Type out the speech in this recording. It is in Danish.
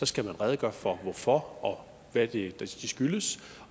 skal man redegøre for for hvad det det skyldes